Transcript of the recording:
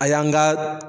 A y'an ka